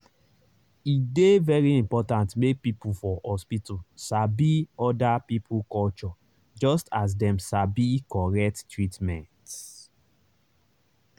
e dey very important make people for hospital sabi other people culture just as dem sabi correct treatment.